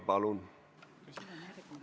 Palun!